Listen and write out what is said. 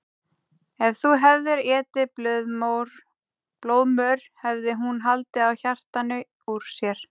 Ef þú hefðir étið blóðmör hefði hún haldið á hjartanu úr sér.